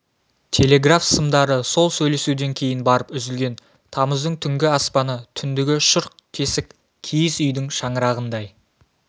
телеграф сымдары сол сөйлесуден кейін барып үзілген тамыздың түнгі аспаны түндігі шұрқ тесік киіз үйдің шаңырағындай